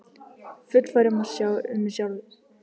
Fullfær um að sjá um mig sjálf.